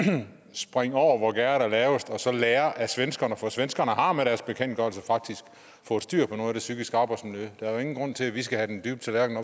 springe over hvor gærdet er lavest og så lære af svenskerne for svenskerne har med deres bekendtgørelse faktisk fået styr på noget af det psykiske arbejdsmiljø der er jo ingen grund til at vi skal have den dybe tallerken